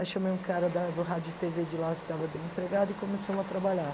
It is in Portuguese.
Aí chamei um cara da do rádio de tê vê de lá que estava desempregado e começamos a trabalhar.